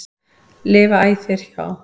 lifa æ þér hjá.